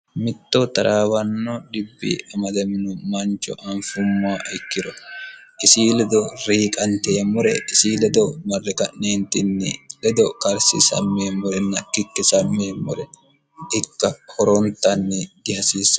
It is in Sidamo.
mitto taraawanno dhibbi amadamino mancho anfummo ikkiro isi ledo riiqanteemmore isi ledo marre ka'neentinni ledo karsisammeemmorenna kikkisammeemmore ikka horontanni dihasiissanno.